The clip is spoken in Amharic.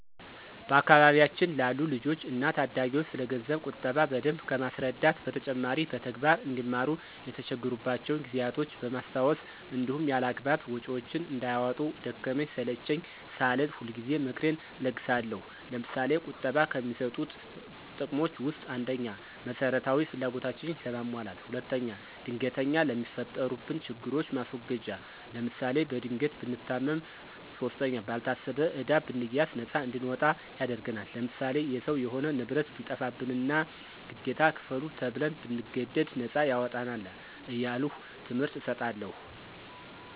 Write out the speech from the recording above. በአካባቢያችን ላሉ ልጆች እና ታዳጊዎች ስለገንዘብ ቁጠባ በደንብ ከማስረዳት በተጨማሪ በተግባር አንዲማሩ የተቸገሩባቸውን ጊዜያቶች በማስታወስ እንዲሁም ያላግባብ ወጭዎችን እንዳያወጡ ደከመኝ ሰለቼኝ ሳልል ሁልጊዜ ምክሬን እለግሳለሁ። ለምሳሌ፦ ቁጠባ ከሚሰጡት ጥቅሞች ውስጥ፦ ፩) መሰረታዊ ፍላጎታችንን ለማሟላት። ፪) ድንገተኛ ለሚፈጠሩብን ችግሮች ማስወገጃ ለምሳሌ፦ በድንገት ብንታመም ፫) ባልታሰበ ዕዳ ብንያዝ ነፃ እንድንወጣ ያደርግናል። ለምሳሌ፦ የሰው የሆነ ንብረት ቢጠፋብንና ግዴታ ክፈሉ ተብን ብንገደድ ነፃ ያወጣናል። እያልሁ ትምህርት እሰጣለሁ።